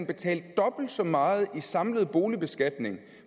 betale dobbelt så meget i samlet boligbeskatning